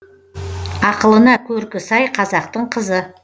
ақылына көркі сай қазақтың қызы